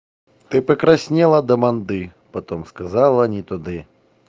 ты покраснела до манды потом сказала не туды